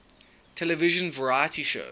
television variety shows